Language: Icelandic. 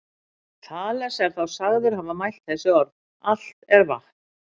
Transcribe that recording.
Þales er þá sagður hafa mælt þessi orð: Allt er vatn